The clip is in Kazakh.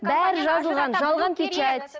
бәрі жазылған жалған печать